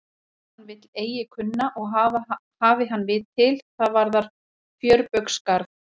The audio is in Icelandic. En ef hann vill eigi kunna og hafi hann vit til, það varðar fjörbaugsgarð.